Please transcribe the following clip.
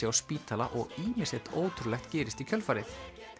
á spítala og ýmislegt ótrúlegt gerist í kjölfarið